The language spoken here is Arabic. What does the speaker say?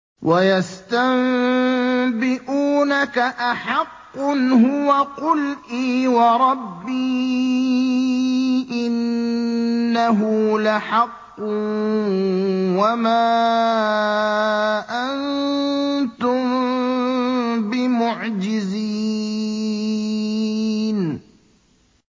۞ وَيَسْتَنبِئُونَكَ أَحَقٌّ هُوَ ۖ قُلْ إِي وَرَبِّي إِنَّهُ لَحَقٌّ ۖ وَمَا أَنتُم بِمُعْجِزِينَ